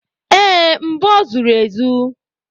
Ee, mbọ zuru ezu.